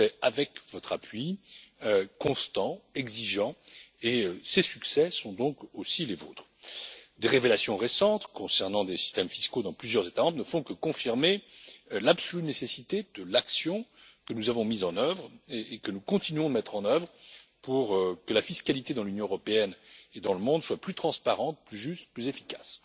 Nous l'avons fait avec votre appui constant, exigeant, et ces succès sont donc aussi les vôtres. Des révélations récentes concernant des systèmes fiscaux dans plusieurs États membres ne font que confirmer l'absolue nécessité de l'action que nous avons mise en œuvre et que nous continuons à mettre en œuvre pour que la fiscalité dans l'Union européenne et dans le monde soit plus transparente, plus juste, plus efficace.